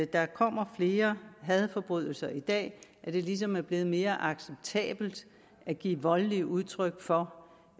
der kommer flere hadforbrydelser i dag at det ligesom er blevet mere acceptabelt at give voldeligt udtryk for